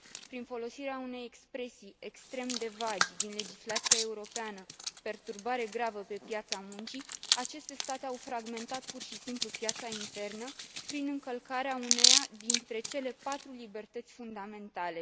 Prin folosirea unei expresii extrem de vagi din legislația europeană perturbare gravă pe piața muncii, aceste state au fragmentat, pur și simplu, piața internă prin încălcarea uneia dintre cele patru libertăți fundamentale.